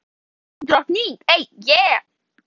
Á sömu slóðum er fjallið Drottning.